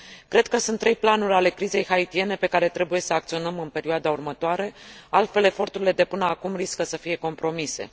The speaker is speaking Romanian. Cred că sunt trei planuri ale crizei haitiene pe care trebuie să acționăm în perioada următoare, altfel eforturile de până acum riscă să fie compromise.